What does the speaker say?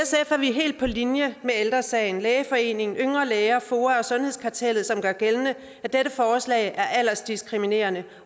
er vi helt på linje med ældre sagen lægeforeningen yngre læger foa og sundhedskartellet som gør gældende at dette forslag er aldersdiskriminerende